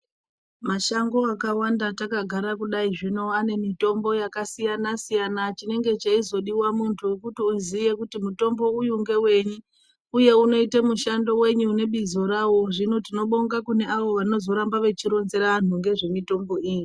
Mashango akawanda takagara kudai zvino ane mitombo yakasiyana siyana chinenge cheizodiwa muntu kuti uziye kuti mutombo uyu ngeweyiUye unoite mushando weyi nebizo rawo zvino tinobonga kune avo vanozorba veironzera antu ngezvemutombo iyi.